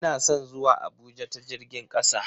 Ina son zuwa Abuja ta jirgin kasa.